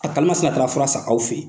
A kari msina taara fura san aw fɛ yen.